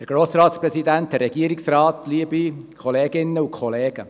Grossrat Wenger, Sie haben das Wort.